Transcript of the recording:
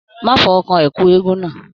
Má fọwọ́ kán ẹkú eégún náà!